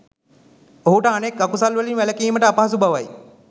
ඔහුට අනෙක් අකුසල් වලින් වැළැකීමට අපහසු බවයි.